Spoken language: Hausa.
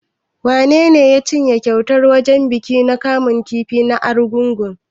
Wanene ya cinye kyautar a wajen bikin kamun kifi na Argungu?